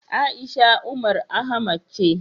A'isha Umar Ahmad ce.